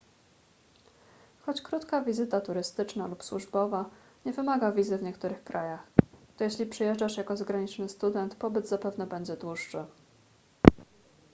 choć krótka wizyta turystyczna lub służbowa nie wymaga wizy w niektórych krajach to jeśli przyjeżdżasz jako zagraniczny student pobyt zapewne będzie dłuższy